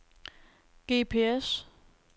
GPS